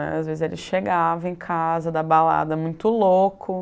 Às vezes ele chegava em casa, da balada, muito louco.